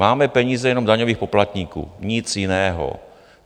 Máme peníze jenom daňových poplatníků, nic jiného.